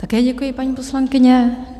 Také děkuji, paní poslankyně.